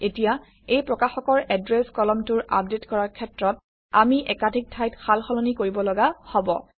এতিয়া এই প্ৰকাশকৰ এড্ৰেছ কলমটোৰ আপডেট কৰাৰ ক্ষেত্ৰত আমি একাধিক ঠাইত সালসলনি কৰিব লগা হব